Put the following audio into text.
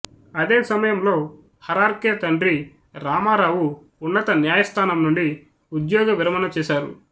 అదే సమయంలో హరార్కే తండ్రి రామారావు ఉన్నత న్యాయస్థానం నుండి ఉద్యోగ విరమణ చేశారు